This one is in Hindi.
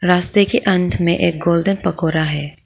रास्ते के अंत में एक गोल्डन पकोरा है।